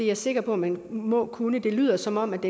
jeg sikker på at man må kunne det lyder som om